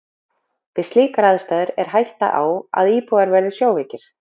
Við slíkar aðstæður er hætta á, að íbúarnir verði sjóveikir.